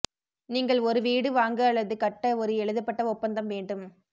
நீங்கள் ஒரு வீடு வாங்க அல்லது கட்ட ஒரு எழுதப்பட்ட ஒப்பந்தம் வேண்டும்